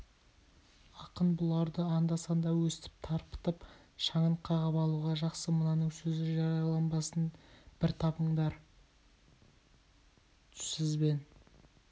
ақын бұларды анда-санда өстіп тарпытып шаңын қағып алуға жақсы мынаның сөз жарияланбасын бір табыңдар сізбен